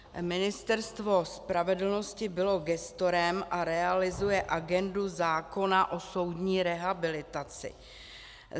Ministerstvo spravedlnosti bylo gestorem a realizuje agendu zákona o soudní rehabilitaci.